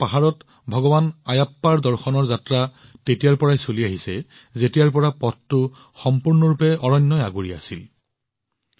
সবৰীমালাৰ পাহাৰত ভগৱান আয়াপ্পাৰ দৰ্শনৰ যাত্ৰা তেতিয়াৰ পৰাই চলি আহিছে যেতিয়াৰ পৰা পথটো সম্পূৰ্ণৰূপে অৰণ্যৰে আগুৰা আছিল